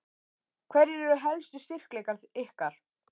Hverjir eru helstu styrkleikar ykkar?